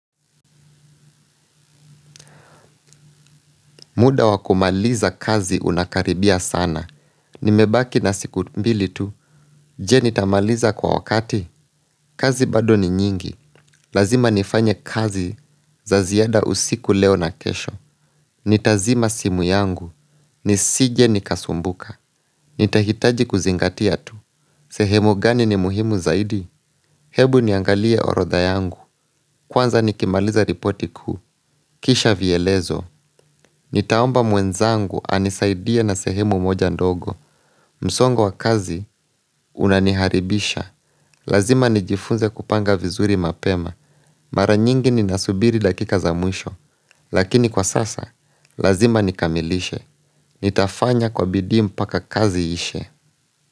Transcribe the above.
Muda wa kumaliza kazi unakaribia sana. Nimebaki na siku mbili tu. Je nitamaliza kwa wakati. Kazi bado ni nyingi. Lazima nifanye kazi za ziada usiku leo na kesho. Nitazima simu yangu. Nisije nikasumbuka. Nitahitaji kuzingatia tu. Sehemu gani ni muhimu zaidi? Ebu niangalie orodha yangu. Kwanza nikimaliza ripoti kuu. Kisha vielezo. Nitaomba mwenzangu anisaidie na sehemu moja ndogo. Msongo wa kazi, unaniharibisha, lazima nijifunze kupanga vizuri mapema, mara nyingi ninasubiri dakika za mwisho, lakini kwa sasa, lazima nikamilishe, nitafanya kwa bidii mpaka kazi iishe.